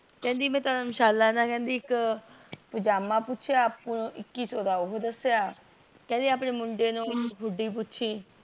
ਕਿਹੰਦੀ ਮੈਂ ਧਰਮਸ਼ਾਲਾ ਨ ਇੱਕ ਪਜਾਮਾ ਪੁਛਿ ਇੱਕੀ ਸੋ ਦਾ ਓਹੋ ਦੱਸਿਆ ਕਿਹੰਦੇ ਆਪਣੀ ਮੁੰਡੇ ਨੂ ਹੂਡੀ ਪੂਛੀ